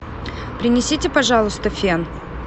принесите пожалуйста фен